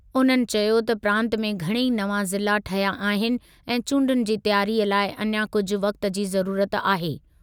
उन्हनि चयो त प्रांतु में घणई नवां ज़िला ठहिया आहिनि ऐं चूंडुनि जी तयारीअ लाइ अञा कुझु वक़्ति जी ज़रुरत आहे।